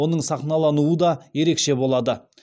оның сахналануы да ерекше болады